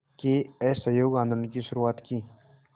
के असहयोग आंदोलन की शुरुआत की